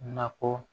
Nakɔ